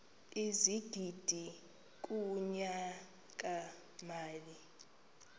ezigidi kunyaka mali